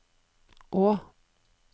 å